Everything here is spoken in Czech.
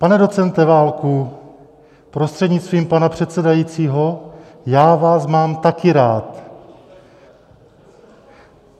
Pane docente Válku prostřednictvím pana předsedajícího, já vás mám taky rád.